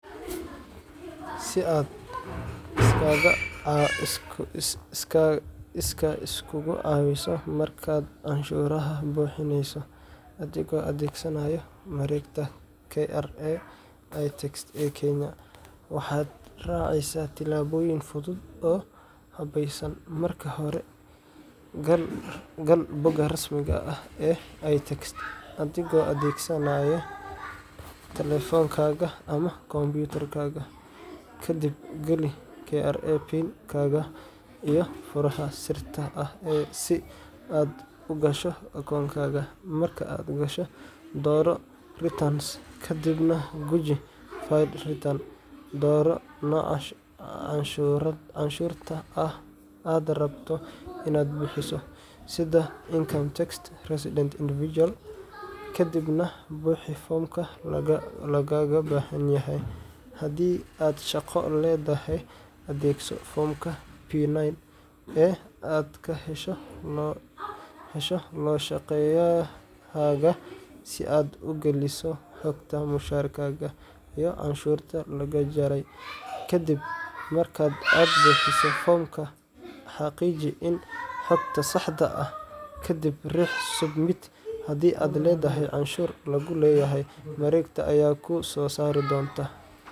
Si aad iskaa isugu caweyso markaad canshuuraha buuxinayso adigoo adeegsanaya mareegta KRA iTax ee Kenya, waxaad raacaysaa tillaabooyin fudud oo habaysan. Marka hore, gal bogga rasmiga ah ee iTax adigoo adeegsanaya taleefankaaga ama kombiyuutarka. Kadib, geli KRA PIN-kaaga iyo furaha sirta ah si aad u gasho akoonkaaga. Marka aad gasho, dooro Returns ka dibna guji File Return" Dooro nooca canshuurta aad rabto inaad buuxiso sida Income Tax – Resident Individual kadibna buuxi foomka lagaaga baahan yahay. Haddii aad shaqo leedahay, adeegso foomka P9 ee aad ka hesho loo-shaqeeyahaaga si aad u geliso xogta mushaarkaaga iyo canshuurta lagaa jaray. Ka dib marka aad buuxiso foomka, xaqiiji in xogta sax tahay, kadibna riix Submit Haddii aad leedahay canshuur lagu leeyahay, mareegta ayaa kuu soo saari doonta